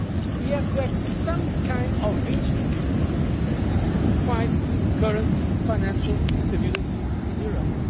We have to have some kind of instruments to fight the current financial instability in